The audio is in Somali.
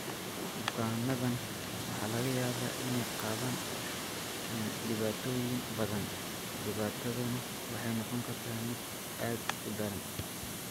Bukaannadaan waxaa laga yaabaa inay qabaan dhibaatooyin badan, dhibaataduna waxay noqon kartaa mid aad u daran.